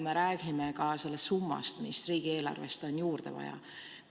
Me räägime ka sellest summast, mis riigieelarvest on juurde vaja.